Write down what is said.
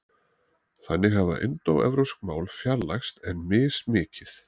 Þannig hafa indóevrópsk mál fjarlægst en mismikið.